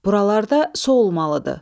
Buralarda su olmalıdır.